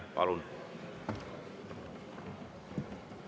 Palun!